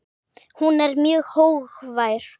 Hún er mjög hógvær.